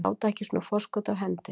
Láta ekki svona forskot af hendi